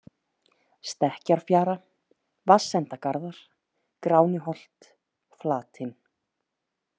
Stekkjarfjara, Vatnsendagarðar, Gránuholt, Flatinn